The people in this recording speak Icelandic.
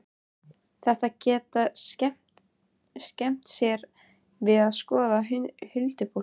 Þetta geta þau skemmt sér við að skoða, huldufólkið.